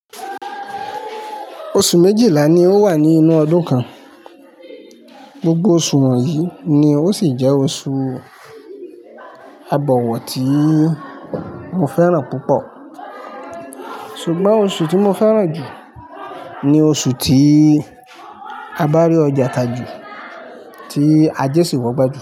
Oṣù méjìlá ni ó wà ní inú ọdún kan. Gbogbo oṣù wọ̀nyí ni ó sì jẹ́ oṣù agbọ̀wọ́ tí mo fẹ́ràn púpọ̀. Ṣùgbọ́n oṣù tí mo fẹ́ràn jù ni oṣù tí a bá rí ọjà ta jù, tí àjé sì wọ́ gbájù.